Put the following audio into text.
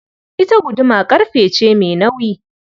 Ita guduma ƙarfe ce mai nauyi.